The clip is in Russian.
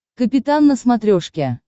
капитан на смотрешке